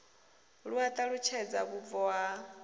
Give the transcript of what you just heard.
lu a ṱalutshedza vhubvo ha